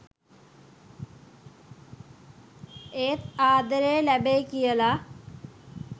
ඒත් ආදරේ ලැබෙයි කියලා.